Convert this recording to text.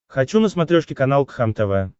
хочу на смотрешке канал кхлм тв